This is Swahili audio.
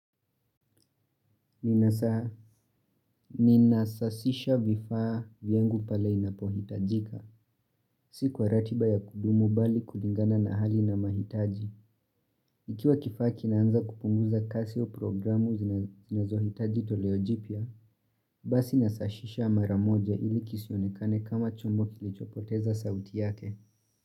Ni nasasisha vifaa vyangu pale inapohitajika, si kwa ratiba ya kudumu bali kulingana na hali na mahitaji Ikiwa kifaa kinaanza kupunguza kasi o programu zinazo hitaji toleo jipya, basi nasashisha maramoja ili kisionekane kama chombo kilichopoteza sauti yake.